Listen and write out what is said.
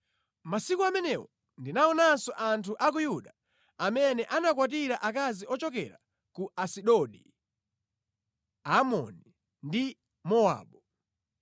Masiku amenewo ndinaonanso anthu a ku Yuda amene anakwatira akazi ochokera ku Asidodi, Amoni ndi Mowabu.